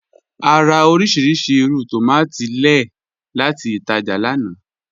À rà orísíríṣí ìrù tómatì lẹ́ẹ̀ láti ìtàjá lána.